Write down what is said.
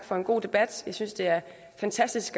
for en god debat jeg synes det er fantastisk